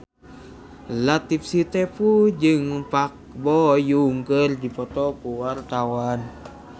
Latief Sitepu jeung Park Bo Yung keur dipoto ku wartawan